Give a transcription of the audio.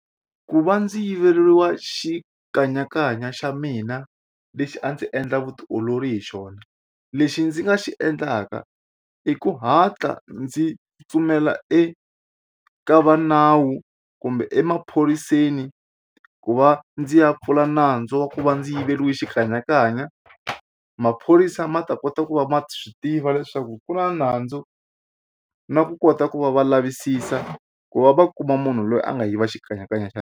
Ku va ndzi yiveriwa xikanyakanya xa mina lexi a ndzi endla vutiolori hi xona lexi ndzi nga xi endlaka i ku hatla ndzi pfumela eka va nawu kumbe emaphoriseni ku va ndzi ya pfula nandzu wa ku va ndzi yiveriwile xikanyakanya maphorisa ma ta kota ku va ma swi tiva leswaku ku na nandzu na ku kota ku va va lavisisa ku va va kuma munhu loyi a nga yiva xikanyakanya .